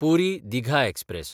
Puri-Digha express